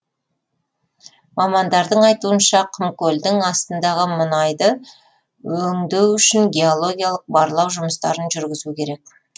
мамандардың айтуынша құмкөлдің астындағы мұнайды өңдеу үшін геологиялық барлау жұмыстарын жүргізу керек